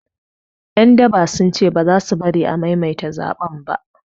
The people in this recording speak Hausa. Ƴan daba sun ce baza su bari a maimaita zaɓen ba